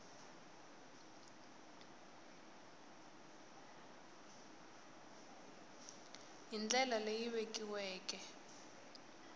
b hi ndlela leyi vekiweke